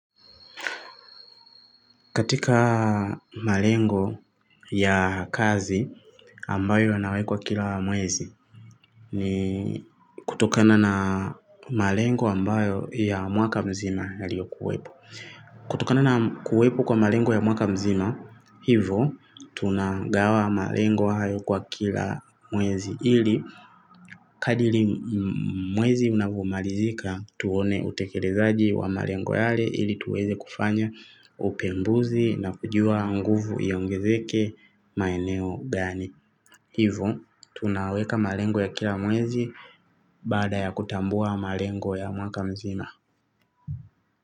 Katika malengo ya kazi ambayo yanawekwa kila mwezi ni kutokana na malengo ambayo ya mwaka mzima yaliyo kuwepo. Kutokana na kuwepu kwa malengo ya mwaka mzima hivo tunagawa malengo hayo kwa kila mwezi. Ili kadili mwezi unavomarizika tuone utekerezaaji wa malengo yale ili tuweze kufanya upembuzi na kujua nguvu yongezeke maeneo gani. Hivo tunaweka malengo ya kila mwezi bada ya kutambua malengo ya mwaka mzima.